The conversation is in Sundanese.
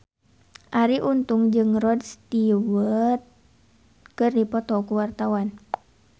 Arie Untung jeung Rod Stewart keur dipoto ku wartawan